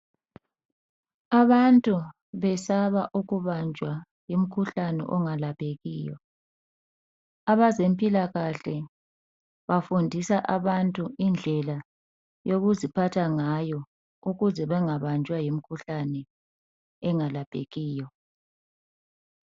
Abantu besaba ukubanjwa ngumkhuhlane ongalaphekiyo. Abezempilakahle bafundisa abantu indlela yokuziphatha ngayo ukuze bangabanjwa yimikhuhlane engalaphekiyo.